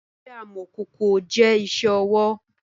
Ìṣe amọ̀kòkò jẹ́ ìṣe ọwọ́